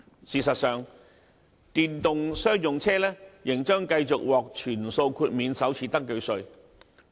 事實上，電動商用車仍將繼續獲全數豁免首次登記稅。